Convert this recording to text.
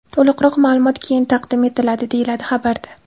To‘liqroq ma’lumot keyin taqdim etiladi”, deyiladi xabarda.